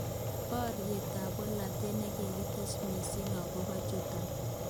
Boriet ab bolotet nikikotes missing akobo tukjotok.